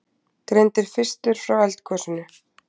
Greindi fyrstur frá eldgosinu